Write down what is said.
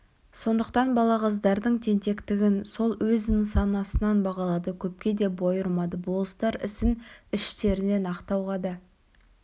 сондықтан балағаздардың тентектігін сол өз нысанасынан бағалады көпке де бой ұрмады болыстар ісін іштерінен ақтауға да